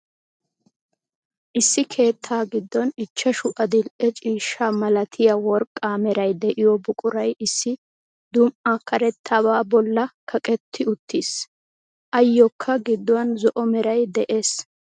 Issi keettaa giddon ichchashshu adil"e ciishshaa malatiya worqqa meray de'iyo buquray issi duma"a karettabaa bolli kaqqetti uttiis. Ayokka gidduwan zo"o meray de'ees.